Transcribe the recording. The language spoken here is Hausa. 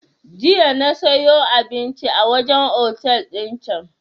Jiya na siyo abinci a wajen otel din can